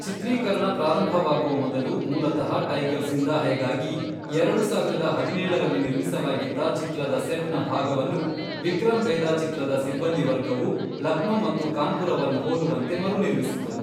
ಚಿತ್ರೀಕರಣ ಪ್ರಾರಂಭವಾಗುವ ಮೊದಲು, ಮೂಲತಃ ಟೈಗರ್ ಜಿ಼ಂದಾ ಹೈ ಗಾಗಿ, ಎರಡು ಸಾವಿರದ ಹದಿನೇಳರಲ್ಲಿ ನಿರ್ಮಿಸಲಾಗಿದ್ದ ಚಿತ್ರದ ಸೆಟ್ನ ಭಾಗವನ್ನು, ವಿಕ್ರಮ್ ವೇದಾ ಚಿತ್ರದ ಸಿಬ್ಬಂದಿವರ್ಗವು ಲಕ್ನೋ ಮತ್ತು ಕಾನ್ಪುರವನ್ನು ಹೋಲುವಂತೆ ಮರುನಿರ್ಮಿಸಿತು.